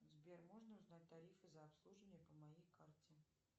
сбер можно узнать тарифы за обслуживание по моей карте